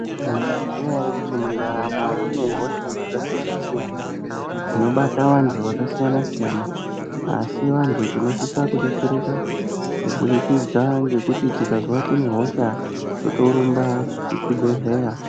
Mozviziva here kuti mundaramo mune hosha dzakasiyana siyana dzinobata vantu vakasiyana siyana asi vantu tinosisa kubetsereka kubudikidza nekuti tikazwa tine hosha totorumba kuchibhedhleya.